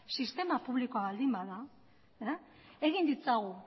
sistema publikoa baldin bada egin ditzagun